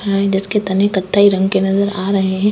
हा जिसके तनिक कथई रंग के नजर आ रहे हैं।